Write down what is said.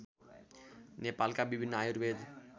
नेपालका विभिन्न आयुर्वेद